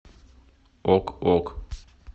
ок ок